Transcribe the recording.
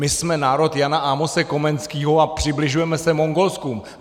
My jsme národ Jana Amose Komenského a přibližujeme se Mongolsku.